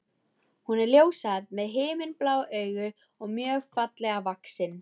Hún er ljóshærð með himinblá augu og mjög fallega vaxin.